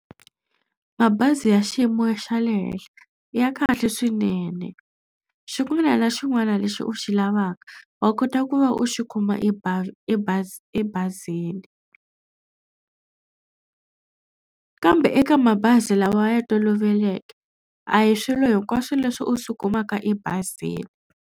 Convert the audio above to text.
Mabazi ya xiyimo xa le henhla ya kahle swinene xin'wana na xin'wana lexi u xi lavaka wa kota ku va u xi kuma ebazini kambe eka mabazi lawa ya toloveleke a hi swilo hinkwaswo leswi u swi kumaka ebazini.